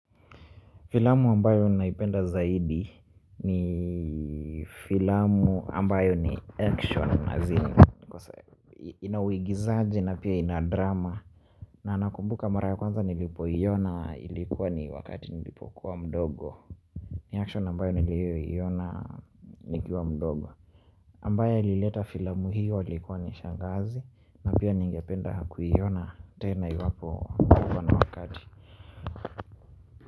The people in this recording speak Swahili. Filamu ambayo naipenda zaidi ni filamu ambayo ni action azn ina uigizaji na pia ina drama na nakumbuka mara ya kwanza nilipoiona ilikuwa ni wakati nilipokuwa mdogo ni action ambayo niliyoiona nikiwa mdogo ambaye ailileta filamu hiyo ailikuwa ni shangazi na pia ningependa kuiona tena iwapo niko na wakati.